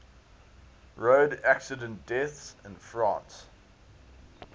road accident deaths in france